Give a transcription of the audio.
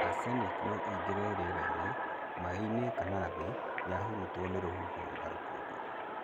Arsenic no ĩingĩre rĩerainĩ, maĩ-inĩ kana thĩ yahurutwo nĩ rũhuho ta rũkũngũ.